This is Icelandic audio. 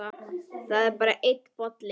Það er bara einn bolli!